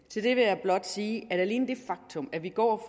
til det vil jeg blot sige at alene det faktum at vi går